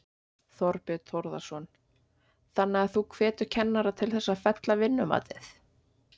Þorbjörn Þórðarson: Þannig að þú hvetur kennara til þess að fella vinnumatið?